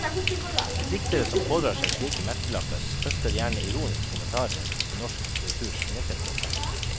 Diktere som pådrar seg slike merkelapper, høster gjerne ironiske kommentarer i norsk litteraturs innerkretser.